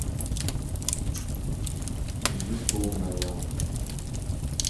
ютубная